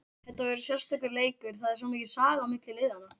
Þetta verður sérstakur leikur, það er svo mikil saga á milli liðanna.